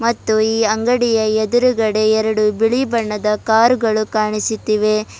ಮತ್ತು ಈ ಅಂಗಡಿಯ ಎದುರುಗಡೆ ಎರಡು ಬಿಳಿ ಬಣ್ಣದ ಕಾರು ಗಳು ಕಾಣಿಸುತ್ತಿವೆ.